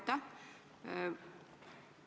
Aitäh!